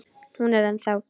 Hún er ennþá.